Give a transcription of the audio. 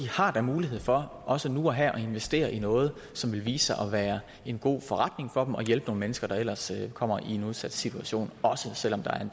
har da mulighed for også nu og her at investere i noget som vil vise sig at være en god forretning for dem og hjælpe nogle mennesker der ellers kommer i en udsat situation også selv om der er